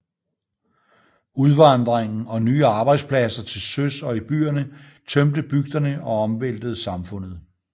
Udvandringen og nye arbejdspladser til søs og i byerne tømte bygderne og omvæltede samfundet